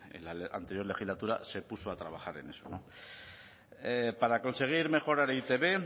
en la anterior legislatura se puso a trabajar en eso para conseguir mejorar e i te be